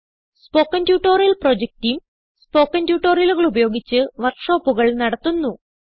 spoken tutorial project team spoken ട്യൂട്ടോറിയലുകൾ ഉപയോഗിച്ച് വർക്ക് ഷോപ്പുകൾ നടത്തുന്നു